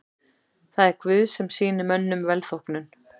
Það er Guð sem sýnir mönnum velþóknun.